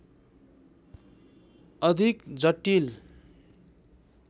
अधिक जटिल